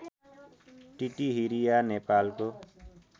टिटिहिरिया नेपालको